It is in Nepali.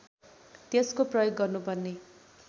त्यसको प्रयोग गर्नुपर्ने